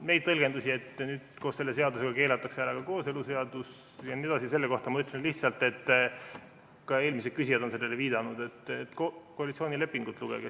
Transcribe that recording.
Nende tõlgenduste kohta, et koos selle seadusega keelatakse ära ka kooseluseadus jne , ma ütlen lihtsalt, et lugege koalitsioonilepingut.